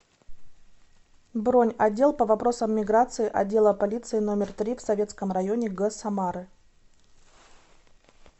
бронь отдел по вопросам миграции отдела полиции номер три в советском районе г самары